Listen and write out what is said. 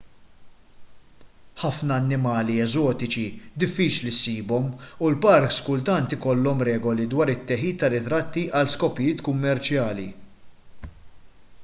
ħafna annimali eżotiċi diffiċli ssibhom u l-parks kultant ikollhom regoli dwar it-teħid ta' ritratti għal skopijiet kummerċjali